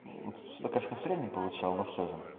что конечно население получал но все же